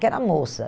Que era a moça.